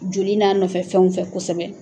Joli n'a nɔfɛ fɛnw fɛ kosɛbɛ